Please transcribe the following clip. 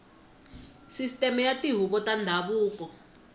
sisiteme ya tihuvo ta ndhavuko